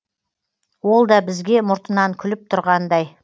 ол да бізге мұртынан күліп түрғандай